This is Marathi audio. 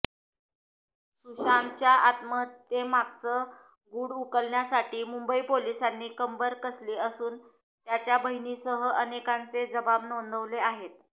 सुशांतच्या आत्महत्येमागचं गुढ उकलण्यासाठी मुंबई पोलिसांनी कंबर कसली असून त्याच्या बहिणीसह अनेकांचे जबाब नोंदवले आहेत